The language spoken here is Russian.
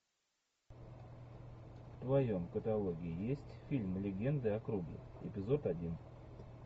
в твоем каталоге есть фильм легенды о круге эпизод один